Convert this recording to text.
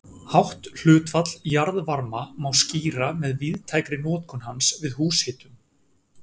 Hátt hlutfall jarðvarma má skýra með víðtækri notkun hans við húshitun.